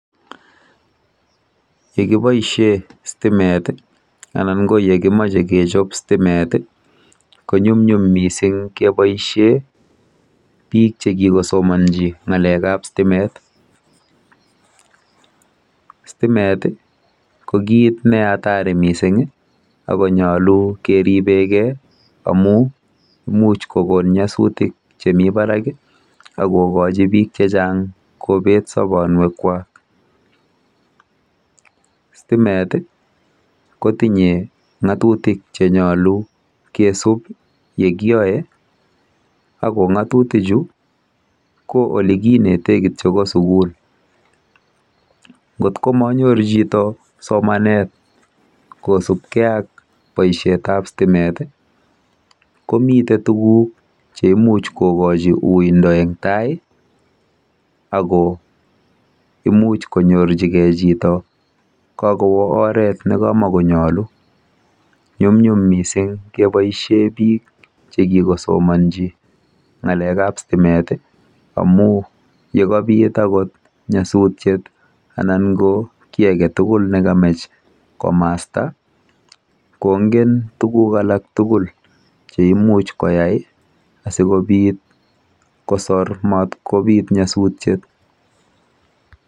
Yekiboisie stimet anan ko yekimache kechob stimet ko nyumnyum keboisie biik chekikosomanji ng'alekab stimet. Stimet ko kiit ne hatari mising akonyolu keribekei amu imuch kokon nyasutik chemi barak akokochi biiik checheng kobeet sabonwekwa. Stimet kotinye ng'atutik chenyolu kisub yekioe ako ng'atutichu ko olekinetei kityo ko sukul. Ng'atutichu komitei tuguk cheimuch kokochi uindo eng taai ako imuch konyor chito kokowo oret nemanyolu. Nyumnyum mising keboisie biik chekikosomanji ng'alekab stimet amu yekabit akot nyasutiet anan ko kiy age tugul negamach komasta kongen tuguk alak tugul cheimuch koyai asikobiit kosor matkobiit nyasutiet.